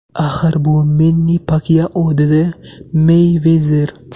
Axir bu Menni Pakyao”, dedi Meyvezer.